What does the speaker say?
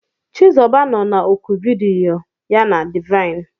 Chizuba nọ na oku vidiyo ya na Divine.